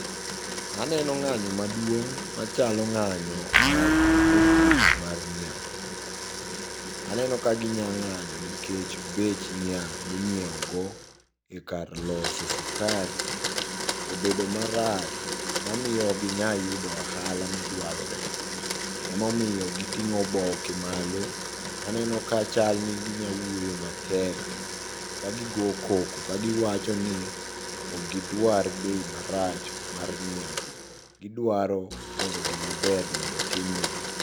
Aneno ng'anyo maduong' machalo nga'nyo mag jopur mar niang'. Aneno ka ginya ng'anyo nikech bech niang' minyieogo e kar loso sukari, obedo marach mamiyo okginya yudo ohala madwarore emomiyo giting'o oboke malo. Aneno ka chalni ginyawuoyo matek kagigo koko kagiwachoni okgidwar bei marach mar niang'. Gidwaro mondo gimaber mondo tim negi.